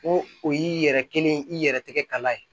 Ko o y'i yɛrɛ kelen ye i yɛrɛ tɛgɛ kala ye